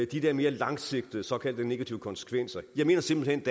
de der mere langsigtede såkaldt negative konsekvenser jeg mener simpelt hen